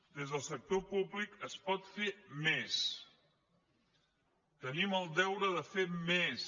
des del sector públic es pot fer més tenim el deure de fer més